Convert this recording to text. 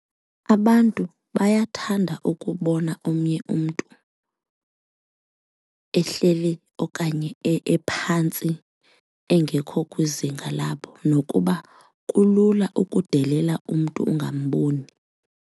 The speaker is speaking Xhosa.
Abantu bayathanda ukubona omnye umntu ehleli okanye ephantsi engekho kwizinga labo nokuba kulula ukudelela umntu ungamboni.